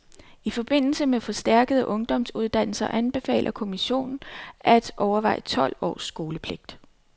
I forbindelse med forstærkede ungdomsuddannelser anbefaler kommission at overveje tolv års skolepligt.